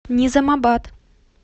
низамабад